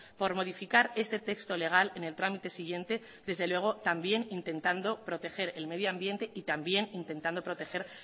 por modificar este texto legal en el trámite siguiente desde luego también intentando proteger el medio ambiente y también intentado proteger